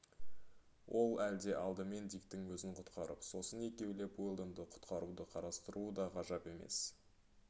ол әлде алдымен диктің өзін құтқарып сосын екеулеп уэлдонды құтқаруды қарастыруы да ғажап емес